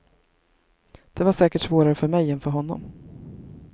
Det var säkert svårare för mig än för honom.